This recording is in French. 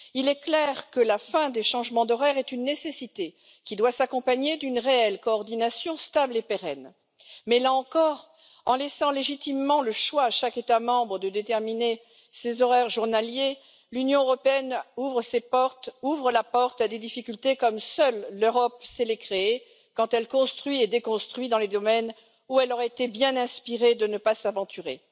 Il est clair que la fin des changements d'horaire est une nécessité qui doit s'accompagner d'une réelle coordination, stable et pérenne. Mais, là encore, en laissant légitimement le choix à chaque État membre de déterminer ses horaires journaliers, l'Union européenne ouvre la porte à des difficultés comme seule l'Europe sait les créer quand elle construit et déconstruit dans les domaines où elle aurait été bien inspirée de ne pas s'aventurer.